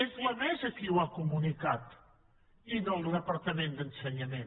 és la mesa qui ho ha comunicat i no el departament d’ensenyament